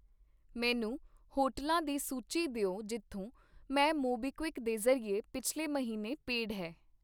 ਮੈਨੂੰ ਹੋਟਲਾਂ ਦੀ ਸੂਚੀ ਦਿਓ ਜਿੱਥੋਂ ਮੈਂ ਮੋਬੀਕਵਿਕ ਦੇ ਜ਼ਰੀਏ ਪਿੱਛਲੇ ਮਹੀਨੇ ਪੇਡ ਹੈ